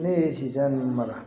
Ne ye sisan nin mara